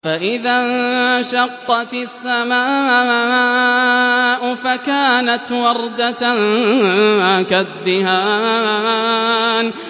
فَإِذَا انشَقَّتِ السَّمَاءُ فَكَانَتْ وَرْدَةً كَالدِّهَانِ